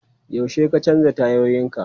Yaushe ka canza tayoyinka?